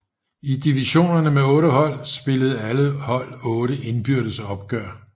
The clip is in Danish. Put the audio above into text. I divisionerne med otte hold spillede alle hold otte indbyrdes opgør